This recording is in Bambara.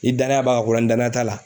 Ni danaya b'a ko la ni danaya t'a la